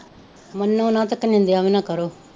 ਮੰਨੋ ਨਾ ਤੇ ਇੱਕ ਨਿੰਦਿਆ ਵੀ ਨਾ ਕਰੋ